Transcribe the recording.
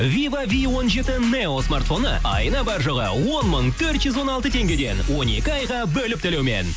вива ви он жеті нео смартфоны айына бар жоғы он мың төрт жүз он алты теңгеден он екі айға бөліп төлеумен